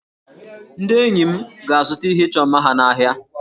Ndị enyi m ga-azụta ihe ịchọ mma ha n'ahịa